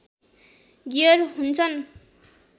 gear हुन्छन्